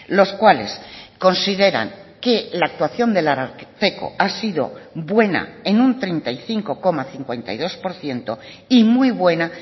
los cuales consideran que la actuación del ararteko ha sido buena en un treinta y cinco coma cincuenta y dos por ciento y muy buena